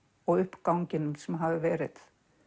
og uppganginum sem hafði verið